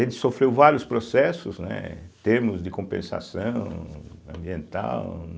Ele sofreu vários processos, né, termos de compensação ambiental.